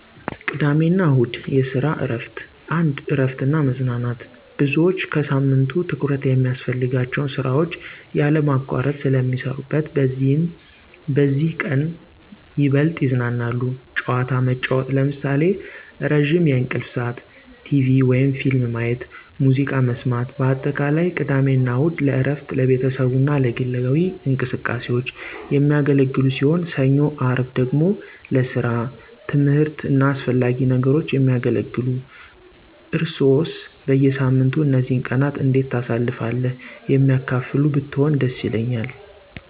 ቅድሚያ አና እሁድ (የሰራ እረፍት ) 1, እረፍት እና መዝናናት _ብዙዎች ከሳምንቱ ትኩረት የሚያስፈልጋቸውን ስራዎች ያለማቋረጥ ስለ ሚሰረነት በዚህም በዚህ ቀነት ይበልጥ ይዝናናሉ። ጨዋታ መጨዉት ለምሳሌ፦ ረዝም የእንቅልፍ ስዓት፣ ቴቪ/ፊልም ማየት፣ ሙዝቃ መሰማት በአጠቃላይ፦ ቅድሜ አና እሁድ ለእረፍት፣ ለቤተሰቡ አና ለግላዊ እንቅስቃሴዎች። የሚያገለግሉ ሲሆን፣ ሰኞ _አርብ ደግሞ ለሰራ፣ ትምህርት አና አሰፈላጊ ነገሮች የሚያገለግሉ። እርሰዋሰ በየሳምንቱ እነዚህን ቀናት እንዴት ታሳልፍሉ የሚያካፍሉ ብትሆኑ ደስ ይለኛል።